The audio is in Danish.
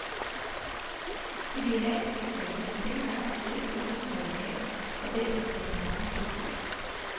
De vil have, at det skal være ligesom dengang, de selv begyndte som advokater, og derfor taber de mange gode folk.